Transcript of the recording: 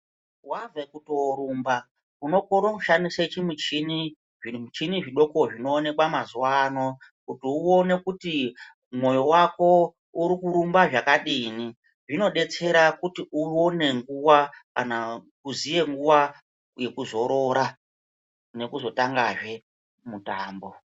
Wabve kutoorumba unokone kushandisa chimuchini zvimuchidi zvidoko zvinoonekwa mazuwa ano kuti uone kuti mwoyo wako urikurumba zvakadini. Izvi zvinodetsera kuti uone nguwa kana kuziye nguwa yekuzorora nekuzotangazve mutambo.